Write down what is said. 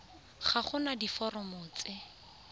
ga go na diforomo tse